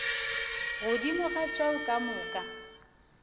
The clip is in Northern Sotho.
godimo ga tšeo ka moka